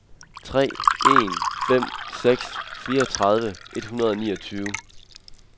tre en fem seks fireogtredive et hundrede og niogtyve